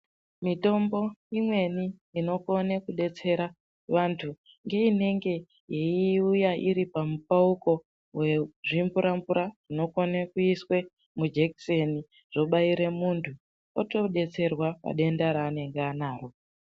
Mitombo imwei inokone kudetsera vantu ngeinenge yeiuya iri pamupauko wezvimvura-mvura zvinokone kuiswe mujekiseni zvobaire muntu otodetserwa padenda ranenge anaro.